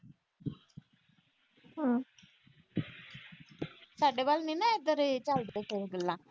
ਸਾਡੇ ਵੱਲ ਨੀ ਨਾ ਇਦਾਂ ਦੀਆਂ ਝੱਲਦੇ ਪਏ ਗੱਲਾਂ।